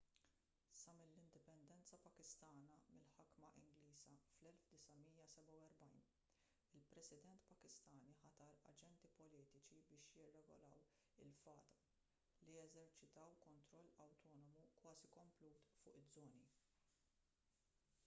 sa mill-indipendenza pakistana mill-ħakma ingliża fl-1947 il-president pakistani ħatar aġenti politiċi biex jirregolaw lil fata li jeżerċitaw kontroll awtonomu kważi komplut fuq iż-żoni